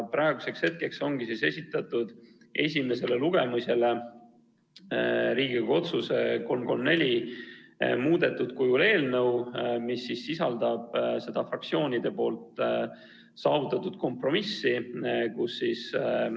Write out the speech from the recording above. Nüüd ongi esitatud esimesele lugemisele Riigikogu otsuse muudetud kujul eelnõu 334, mis sisaldab seda fraktsioonide saavutatud kompromissi.